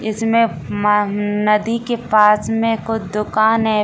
इसमें म नदी के पास में को दुकान है ।